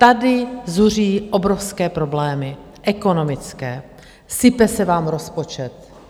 Tady zuří obrovské problémy - ekonomické, sype se vám rozpočet...